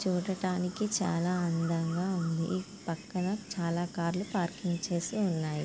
చూడటానికి చాలా అందముగా ఉంది . ఈ పక్కన చాలా కార్ లు పార్కింగ్ చేసి ఉన్నాయి.